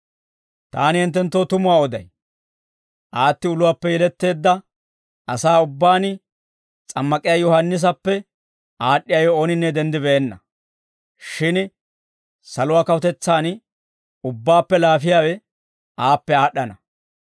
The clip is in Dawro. Taani hinttenttoo tumuwaa oday; aatti uluwaappe yeletteedda asaa ubbaan S'ammak'iyaa Yohaannisappe aad'd'iyaawe ooninne denddibeenna; shin saluwaa kawutetsaan ubbaappe laafiyaawe aappe aad'd'ana.